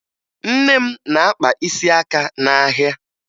Nne m na-akpa isi aka n'ahịa